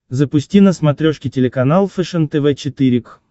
запусти на смотрешке телеканал фэшен тв четыре к